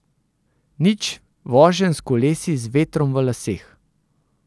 Nič voženj s kolesi z vetrom v laseh.